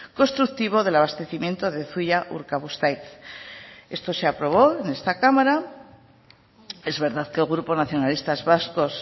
constructivo del abastecimiento de zuia urkabustaiz esto se aprobó en esta cámara es verdad que el grupo nacionalistas vascos